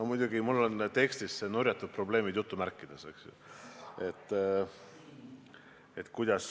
No muidugi mul on tekstis see "nurjatud probleemid" jutumärkides.